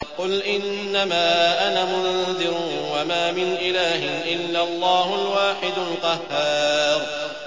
قُلْ إِنَّمَا أَنَا مُنذِرٌ ۖ وَمَا مِنْ إِلَٰهٍ إِلَّا اللَّهُ الْوَاحِدُ الْقَهَّارُ